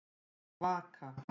Vaka